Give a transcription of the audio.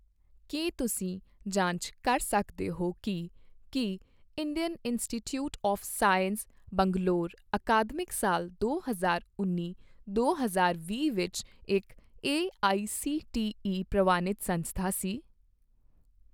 ਕੀ ਤੁਸੀਂ ਜਾਂਚ ਕਰ ਸਕਦੇ ਹੋ ਕੀ ਕੀ Indian Institute of Science Bangalore ਅਕਾਦਮਿਕ ਸਾਲ ਦੋ ਹਜ਼ਾਰ ਉੱਨੀ ਦੋ ਹਜ਼ਾਰ ਵੀਹ ਵਿੱਚ ਇੱਕ ਏਆਈਸੀਟੀਈ ਪ੍ਰਵਾਨਿਤ ਸੰਸਥਾ ਸੀ?